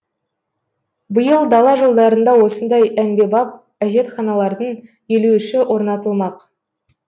биыл дала жолдарында осындай әмбебап әжетханалардың елу үші орнатылмақ